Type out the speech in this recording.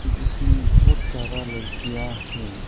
जिसमें बहुत सारा लड़कियां है।